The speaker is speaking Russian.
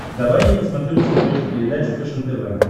давай я посмотрю на смотрешке передачу фэшен тв